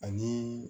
Ani